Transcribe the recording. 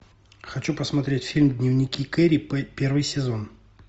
хочу посмотреть фильм дневники кэрри первый сезон